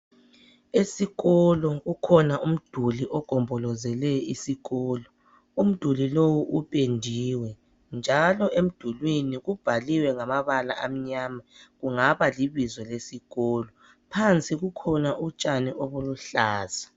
Esikolo kukhona umduli ogombolozele isikolo, umduli lowu upendiwe njalo emdulwini kubhaliwe ngamabala amnyama. Kungaba libizo lesikolo. Phansi kukhona utshani obuluhlaza.